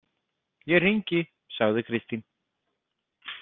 Ég hringi, sagði Kristín.